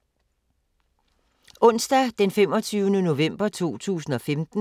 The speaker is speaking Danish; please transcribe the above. Onsdag d. 25. november 2015